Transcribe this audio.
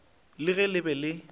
le ge le be le